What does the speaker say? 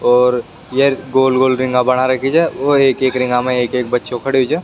और गोल गोल रिंगा बना रखीचा और एक एक रिंग मा एक एक बच्चो खड़ेयो छ।